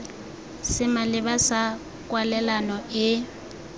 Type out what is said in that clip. se maleba sa kwalelano e